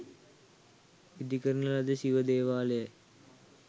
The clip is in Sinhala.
ඉදිකරන ලද ශිව දේවාලයයි.